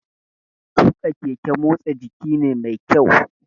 Tuƙa keke motsa jiki ne mai kyau